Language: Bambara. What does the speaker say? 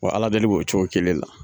Wa Ala deli b'o cogo kelen la